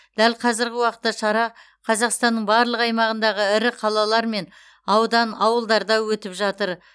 дәл қазіргі уақытта шара қазақстанның барлық аймағындағы ірі қалалар мен аудан ауылдарда өтіп жатыр